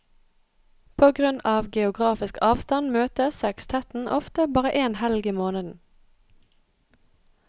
På grunn av geografisk avstand møtes sekstetten ofte bare én helg i måneden.